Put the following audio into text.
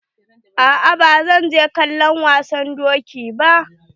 A'a ba zan je kallon wasan doki ba.